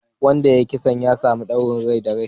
Wanda ya yi kisan ya samu ɗaurin rai da rai